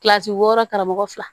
Kilasi wɔɔrɔ karamɔgɔ fila